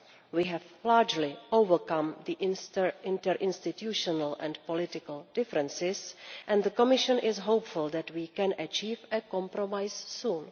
We have largely overcome the interinstitutional and political differences, and the Commission is hopeful that we can achieve a compromise soon.